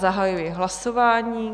Zahajuji hlasování.